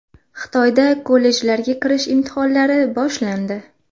Xitoyda kollejlarga kirish imtihonlari boshlandi.